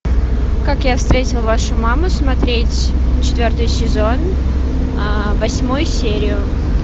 как я встретил вашу маму смотреть четвертый сезон восьмую серию